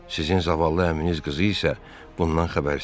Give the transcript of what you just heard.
Sizin zavallı əminiz qızı isə bundan xəbərsizdir.